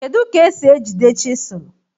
Kedụ ka e si e jide chịsụlụ?